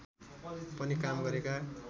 पनि काम गरेका